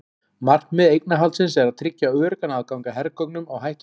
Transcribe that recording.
Markmið eignarhaldsins er að tryggja öruggan aðgang að hergögnum á hættutímum.